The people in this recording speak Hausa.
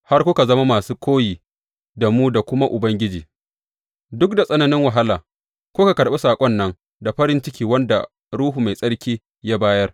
Har kuka zama masu koyi da mu da kuma Ubangiji; duk da tsananin wahala, kuka karɓi saƙon nan da farin ciki wanda Ruhu Mai Tsarki ya bayar.